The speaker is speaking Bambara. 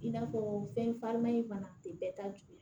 I n'a fɔ fɛn farima in fana tɛ bɛɛ ta juguya